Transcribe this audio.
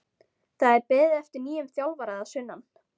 Það er beðið eftir nýjum þjálfara að sunnan.